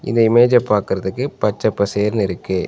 இந்த இமேஜ்ஜ பாக்கறதுக்கு பச்ச பசேர்னு இருக்கு.